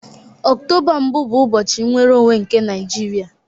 Octoba mbụ bụ ụbọchị nnwere onwe nke Naijiria